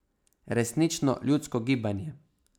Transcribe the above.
Resnično ljudsko gibanje.